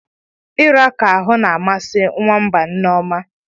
Irakọ ahu na-amasị nwamba nneoma.